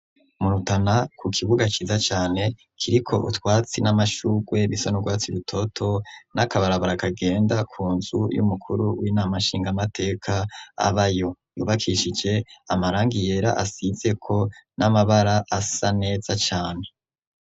Mu Rutana ku kibuga ciza cane kiriko utwatsi n'amashurwe bisa nurwatsi rutoto n'akabarabara kagenda ku nzu y'umukuru w'inama shingamateka abayo kubakishije amarangi yera asize ko n'amabara asa neza cane.